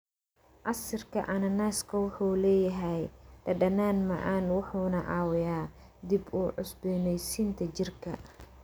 Casiirka cananaaska wuxuu leeyahay dhadhan macaan wuxuuna caawiyaa dib u cusboonaysiinta jirka.